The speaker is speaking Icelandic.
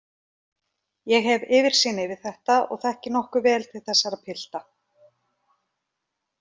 Ég hef yfirsýn yfir þetta og þekki nokkuð vel til þessara pilta.